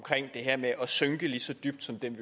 det her med at synke lige så dybt som dem